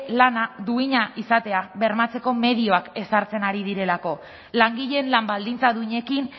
lana duina izatea bermatzeko medioak ezartzen ari direlako langileen lan baldintza duinekin